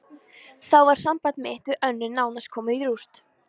Þá var samband mitt við Önnu nánast komið í rúst.